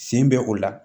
Sen bɛ o la